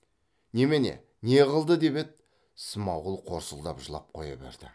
немене не қылды деп еді смағұл қорсылдап жылап қоя берді